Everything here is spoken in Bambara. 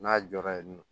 N'a jɔra yen nɔ